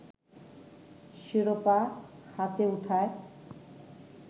শিরোপা হাতে ওঠায়